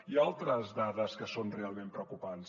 hi ha altres dades que són realment preocupants